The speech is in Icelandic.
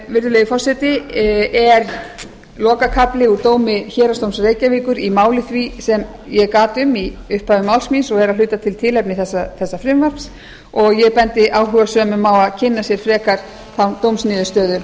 virðulegi forseti er lokakafli úr dómi héraðsdóms reykjavíkur í máli því sem ég gat um í upphafi máls míns og er að hluta til tilefni þessa frumvarps og ég bendi áhugasömum á að kynna sér frekar þá dómsniðurstöðu